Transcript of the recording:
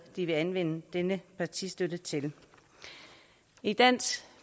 de vil anvende denne partistøtte til i dansk